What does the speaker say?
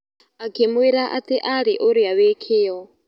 Akĩmwĩra atĩ arĩ ũrĩa wĩ kĩyo